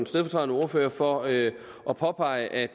stedfortrædende ordfører for at at påpege at